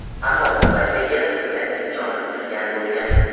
Ammo bu paytga kelib go‘dakning joni uzilgan bo‘lgan.